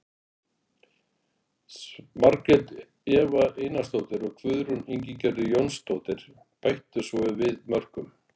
Margrét Eva Einarsdóttir og Guðrún Ingigerður Jónsdóttir bættu svo við mörkum.